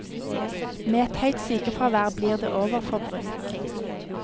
Med et høyt sykefravær blir det overforbruk.